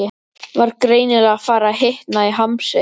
Var greinilega farið að hitna í hamsi.